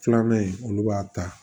Filanan in olu b'a ta